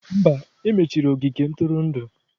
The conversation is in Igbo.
Mba, e mechiri ogige ntụrụndụ.